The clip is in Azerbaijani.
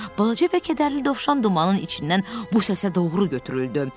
Balaca və kədərli dovşan dumanın içindən bu səsə doğru götürüldü.